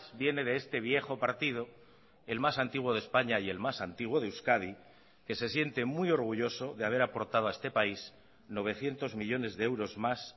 viene de este viejo partido el más antiguo de españa y el más antiguo de euskadi que se siente muy orgulloso de haber aportado a este país novecientos millónes de euros más